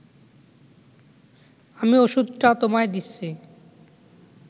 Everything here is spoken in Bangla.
আমি ওষুধটা তোমায় দিচ্ছি